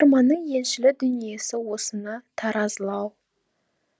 оқырманның еншілі дүниесі осыны таразылау